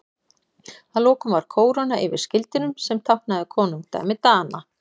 Að lokum var kóróna yfir skildinum sem táknaði konungdæmi Dana.